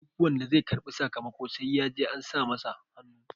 duk wanda zai karbi sakamako sai ya je an sa masa hannu